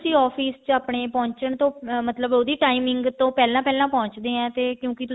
office ਇਸ ਚ ਆਪਣੇ ਪਹੁੰਚਣ ਤੋਂ ਮਤਲਬ ਉਹਦੀ timing ਤੋਂ ਪਹਿਲਾਂ ਪਹਿਲਾਂ ਪਹੁੰਚਦੇ ਹਾਂ ਕਿਉਂਕਿ